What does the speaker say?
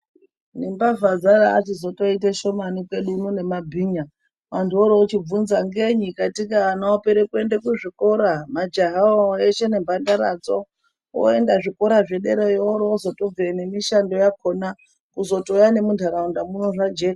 Ngembavja dzarachitoite shomani kwedu uno nemabhinya. Antu orochibvunza ngei katika ana opere kuenda kuzvikora. Majahawo eshe nemhandaradzo oenda zvikora zvederayo orochizotobveyo nemishando yakona kuzotouya nemu ntaraunda muno zvajeka.